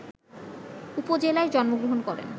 উপজেলায় জন্মগ্রহণ করেন